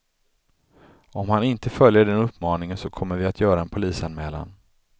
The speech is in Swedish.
Om han inte följer den uppmaningen så kommer vi att göra en polisanmälan.